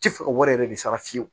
Tɛ fɛ o wari yɛrɛ de bɛ sara fiyewu